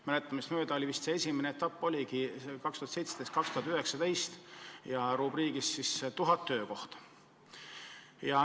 Minu mäletamist mööda esimene etapp oligi 2017–2019, rubriigiks "Tuhat töökohta".